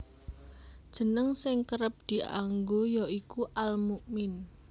Jeneng sing kerep dianggo ya iku Al Mu min